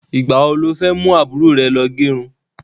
Ìgbà wo lo fẹ́ mú àbúrò rẹ lọ gẹrun?